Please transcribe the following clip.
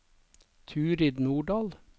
Turid Nordahl